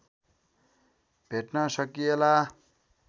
भेट्न सकिएला